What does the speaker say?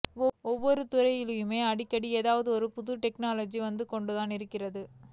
ஒவ்வொரு துறையிலுமே அடிக்கடி ஏதாவது புது டெக்னாலஜி வந்து கொண்டுதான் இருக்கிறது